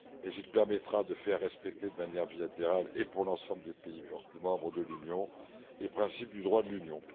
Il permettra en revanche de faire respecter de manière bilatérale et pour l'ensemble des pays membres de l'Union les principes du droit de l'Union.